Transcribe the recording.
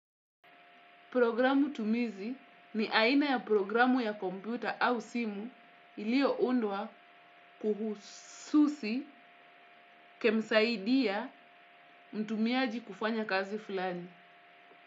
Programu tumizi ni aina ya programu ya kompyuta au simu ilio undwa kihususi kumsaidia mtumiaji kufanya kazi fulani.